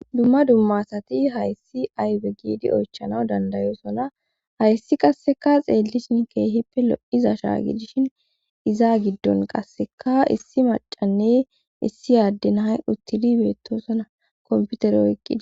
dumma dumma asati hayssi aybe giidi oychanaw dandayosona hayssi qasseka xeellishin keehippe lo7iza shaagidishin iza giddon qasseka issi macanne issi aadden hay uttidi beettosona komputer oyqqidi